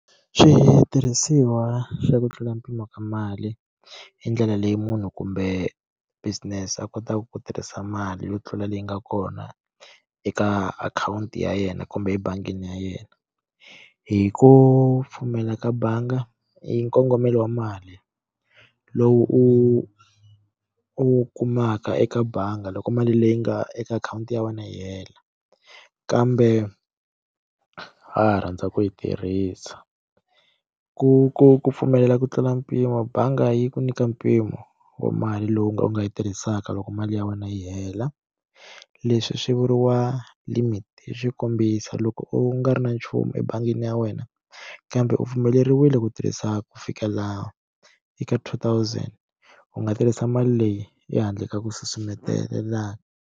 Xitirhisiwa xa ku tlula mpimo ka mali hi ndlela leyi munhu kumbe business a kotaka ku tirhisa mali yo tlula leyi nga kona eka akhawunti ya yena kumbe ebangini ya yena hi ku pfumela ka bangi i nkongomelo wa mali lowu u u kumaka eka bangi loko mali leyi nga eka akhawunti ya wena yi hela kambe rhandza ku yi tirhisa ku ku ku pfumelela ku tlula mpimo bangi yi ku nyika mpimo wa mali lowu nga u nga yi tirhisaka loko mali ya wena yi hela leswi swi vuriwa limit hi swikombiso loko u nga ri na nchumu ebangini ya wena kambe u pfumeleriwile ku tirhisa ku fika laha eka two thousand u nga tirhisa mali leyi ehandle ka ku susumetelelana.